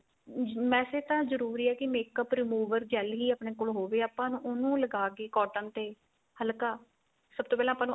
ਅਹ ਵੈਸੇ ਤਾਂ ਜਰੂਰੀ ਏ ਕੀ makeup remover gel ਹੀ ਆਪਣੇ ਕੋਲ ਹੋਵੇ ਆਪਾਂ ਉਹਨੂੰ ਲਗਾ ਕੇ cotton ਤੇ ਹਲਕਾ